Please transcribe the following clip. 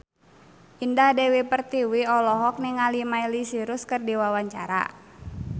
Indah Dewi Pertiwi olohok ningali Miley Cyrus keur diwawancara